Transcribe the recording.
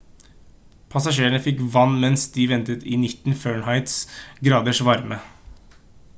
passasjerene fikk vann mens de ventet i 90f-graders varme